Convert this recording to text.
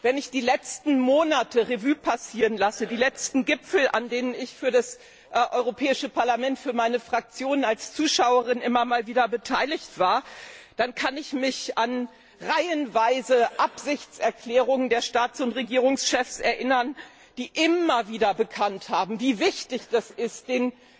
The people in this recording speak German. Wenn ich die letzten Monate Revue passieren lasse, die letzten Gipfel, an denen ich für das Europäische Parlament, für meine Fraktion als Zuschauerin immer wieder einmal beteiligt war, dann kann ich mich an reihenweise Absichtserklärungen der Staats und Regierungschefs erinnern, die immer wieder bekannt haben, wie wichtig das ist, den